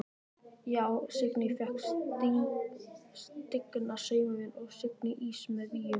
Já: Signý fékk stigna saumavél og signa ýsu með víum.